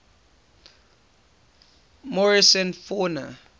morrison fauna